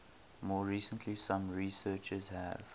more recently some researchers have